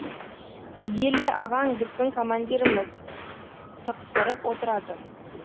еле ағаң біздің командиріміз тықсырып отырады